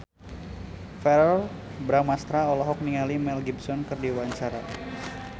Verrell Bramastra olohok ningali Mel Gibson keur diwawancara